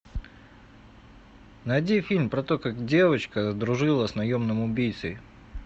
найди фильм про то как девочка дружила с наемным убийцей